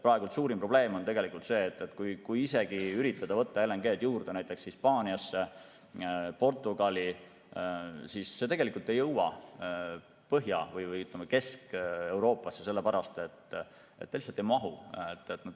Praegu on suurim probleem see, et kui isegi üritada võtta LNG-d juurde näiteks Hispaaniasse ja Portugali, siis see tegelikult ei jõua Põhja- või Kesk-Euroopasse, sellepärast et ta lihtsalt ei mahu.